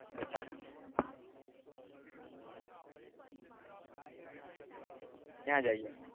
ત્યાંજ આવી જાવ